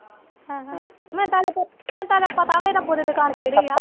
ਮੈਨੂੰ ਤਾ ਹਲੇ ਪਤਾ ਮੈਨੂੰ ਤੇ ਹਲੇ ਪਤਾ ਵੀ ਨਹੀਂ ਰੱਬੁ ਦੀ ਦੁਕਾਨ ਕਿਹੜੀ ਆ।